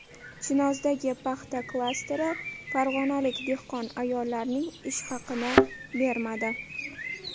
Chinozdagi paxta klasteri farg‘onalik dehqon ayollarning ish haqini bermadi.